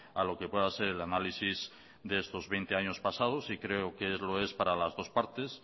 a lo que pueda ser el análisis de estos veinte años pasados y creo que lo es para las dos partes